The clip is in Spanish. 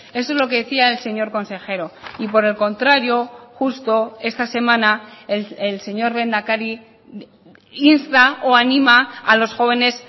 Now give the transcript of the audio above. eso es lo que decía el señor consejero y por el contrario justo esta semana el señor lehendakari insta o anima a los jóvenes